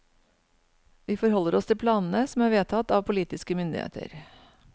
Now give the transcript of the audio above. Vi forholder oss til planene som er vedtatt av politiske myndigheter.